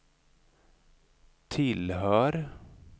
tillhör